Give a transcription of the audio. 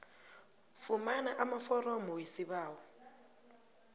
fumana amaforomo wesibawo